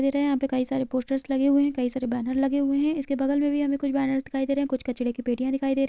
दे रहे हैं यहाँ पे कई सारे पोस्टर्स लगे हुए हैं कई सारे बैनर लगे हुए हैं इसके बगल मे भी हमे कुछ बैनर्स दिखाई दे रही हैं कुछ कचड़े की पेटियाँ दिखाई दे रही --